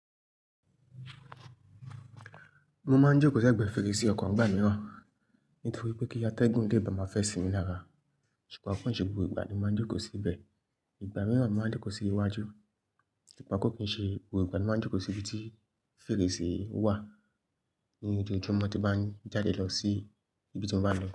Mo máa ń jókòó sẹ́gbẹ̀ẹ́ fèrèsé ọkàn gbà mìíràn. Nítorí pé kí a tẹ́gùn gé ìbà máa fẹ́ sinmi lára. Ṣùgbọ́n kò kí n ṣe gbogbo ìgbà ni mo máa ń jókòó síbẹ̀. Ìgbà mìíràn mo máa ń jókòó sí iwájú. Ṣùgbọ́n kò kí n ṣe gbogbo ìgbà ni mo máa ń jókòó sí ibi tí fèrèsé wà. Nínú ojoọjumó tí bá ń jáde lọ sí ibi tí mo bá lọ.